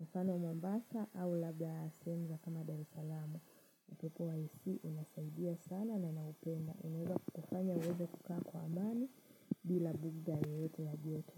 na sana mombasa au labda sehemu za kama Dar es salaam. Upepo wa AC unasaidia sana na naupenda unoweza kufanya uweza kukaa kwa amani bila bughudha yoyote ya joto.